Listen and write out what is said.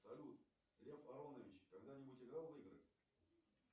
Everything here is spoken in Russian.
салют лев аронович когда нибудь играл в игры